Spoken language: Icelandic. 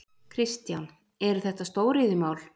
Kristján: Eru þetta stóriðjumál?